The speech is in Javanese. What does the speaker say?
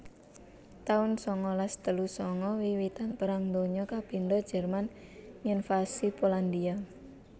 taun sangalas telu sanga Wiwitan Perang Donya kapindho Jerman nginvasi Polandhia